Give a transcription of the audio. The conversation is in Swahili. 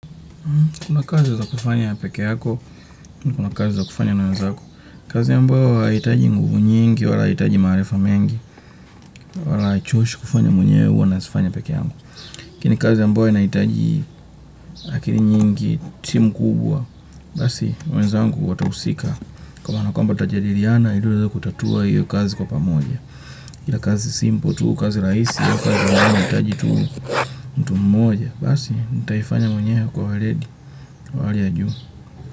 Kuna kazi za kufanya pekee yako, kuna kazi za kufanya na wenzako, kazi ambayo haihitaji nguvu nyingi, wala haihitaji maarifa mengi, wala haichoshi kufanya mwenyewe huwa nazifanya peke yangu. Lakini kazi ambayo nahitaji lakini nyingi, timu kubwa, basi wenzangu watahusika. Kwamba nakuamba tutajadiliana, ili uweze kutatua hiyo kazi kwa pamoja. Kila kazi simple, tu kazi rahisi, hiyo kazi nayo inahitaji tu mmoja, basi, nitaifanya mwenyewe kwa weledi, wa hali ya juu.